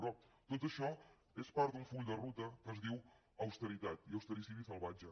però tot això és part d’un full de ruta es diu austeritat i austericidi salvatge